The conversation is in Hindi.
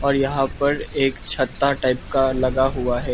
और यहां पर एक छत्ता टाइप का लगा हुआ है।